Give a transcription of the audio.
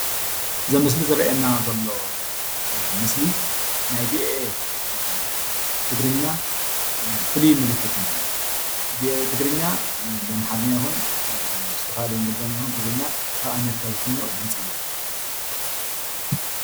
እዚ ኣብ ምስሊ ዝረአየና ዘሎ ምስሊ ናይ ቪኦኤ ትግርኛ ፍሉይ ምልክት ማለት እዩ፡፡ ቪኦኤ ትግርኛ ኣምሓርኛ ይኩን ምስቲ ካልእ እንግሊዘኛ ይኩን ትግርኛ ከብ ኣሜሪካ ዝፍኖ ድምፂ እዩ፡፡